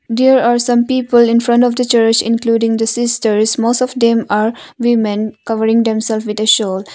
There are some people in front of the church including the sisters most of them are women covering themselves with the shawls.